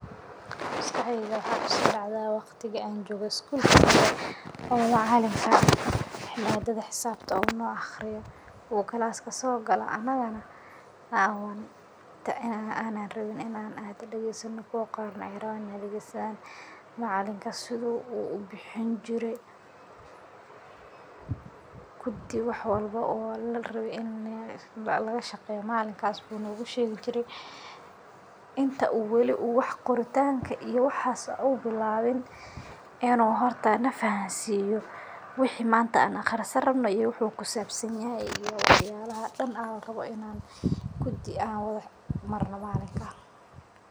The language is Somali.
Maskaxdeyda waxa kusodacada waqtiga aan jooqa skulka oo maclinka madadha xisabta oo no aqriyo u classka sogalo anagano anan rawin inan dagesano kuwa qaar na ay rawan inay dagestan. Macalinka sidhu u bixin jire kudi wax walba larawe in lagashaqeyo malinkas wu nugushegi jire inta wali oo waxa qoritanka iyo waxa u bilawin inu horta nafahamsiyo wixi manta an aqrisan rabno iyo wuxu kuhisabsanyahay iyo wax yalaha daan aa larawo inaa kudi an wadaqorno malinka.